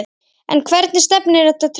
En hvert stefnir þetta trend?